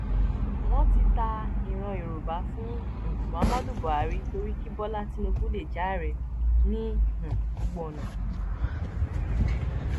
wọn ti ta ìran yorùbá fún um muhammadu buhari torí kí bọlá tinubu lè jẹ ààrẹ ní um gbogbo ọnà